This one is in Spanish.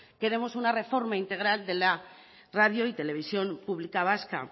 queremos una reforma integral de la radio y televisión pública vasca